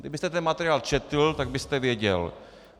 Kdybyste ten materiál četl, tak byste věděl.